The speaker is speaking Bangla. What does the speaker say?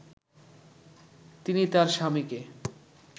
তিনি তার স্বামীকে